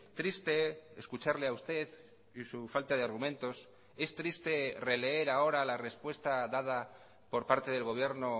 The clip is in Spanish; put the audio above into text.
triste escucharle a usted y su falta de argumentos es triste releer ahora la respuesta dada por parte del gobierno